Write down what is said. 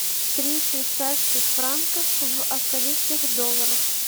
три швейцарских франка в австралийских долларах